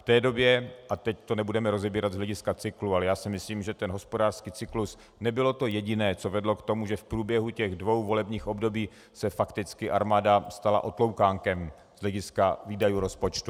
V té době - a teď to nebudeme rozebírat z hlediska cyklu, ale já si myslím, že ten hospodářský cyklus nebylo to jediné, co vedlo k tomu, že v průběhu těch dvou volebních období se fakticky armáda stala otloukánkem z hlediska výdajů rozpočtu.